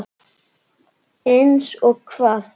Eins og hvað?